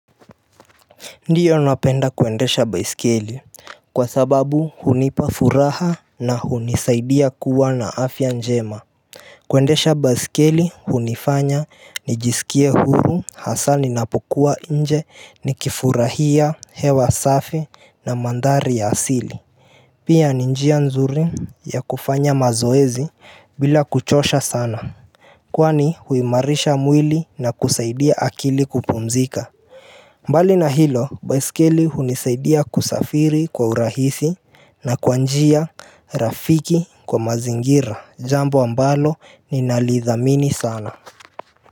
Ndiyo napenda kwendesha baisikeli kwa sababu hunipa furaha na hunisaidia kuwa na afya njema kuendesha baisikeli hunifanya nijisikie huru hasa ninapokuwa nje ni kifurahia hewa safi na mandhari ya asili Pia ni njia nzuri ya kufanya mazoezi bila kuchosha sana Kwani huimarisha mwili na kusaidia akili kupumzika mbali na hilo baisikeli hunisaidia kusafiri kwa urahisi na kwa njia, rafiki kwa mazingira, jambo ambalo nina lithamini sana.